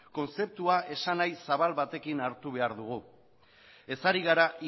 kontzeptua esanahi zabal batekin hartu behar dugu ez gara